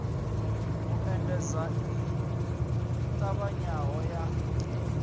u endedza i ṱavhanyaho ya